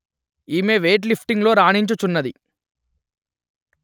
ఈమె వెయిట్ లిఫ్టింగులో రాణించుచున్నది